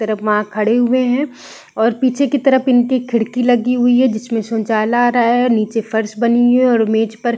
तरफ मा खड़े हुए है और पीछे की तरफ इनके खिड़की लगी हुई है जिसमें उजाला आ रहा है और नीचे फर्श बनी हुई है और मेज पर --